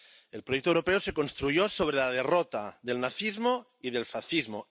El proyecto europeo se construyó sobre la derrota del nazismo y del fascismo.